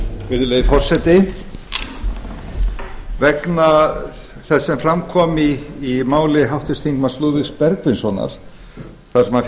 virðulegi forseti vegna þess sem fram kom í máli háttvirts þingmanns lúðvíks bergvinssonar þar sem hann